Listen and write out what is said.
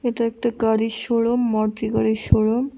এটা একটি গাড়ির শোরুম মারুতি গাড়ির শোরুম ।